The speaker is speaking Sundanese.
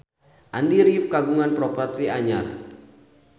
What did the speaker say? Andy rif kagungan properti anyar